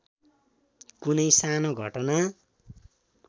कुनै सानो घटना